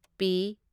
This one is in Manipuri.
ꯄꯤ